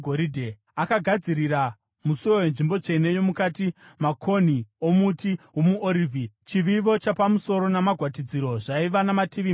Akagadzirira musuo wenzvimbo tsvene yomukati makonhi omuti womuorivhi; chivivo chapamusoro namagwatidziro zvaiva namativi mashanu.